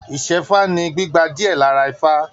Isẹfa ní gbígba diẹ lára ifá.